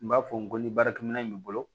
N b'a fɔ n ko ni baarakɛminɛn b'i bolo